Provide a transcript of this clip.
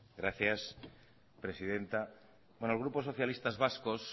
gracias presidenta bueno el grupo socialistas vascos